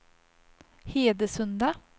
Hedesunda